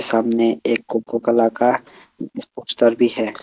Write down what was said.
सामने एक coca cola का पोस्टर भी है।